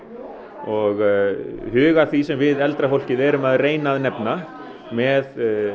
og huga að því sem við eldra fólkið erum að reyna að nefna með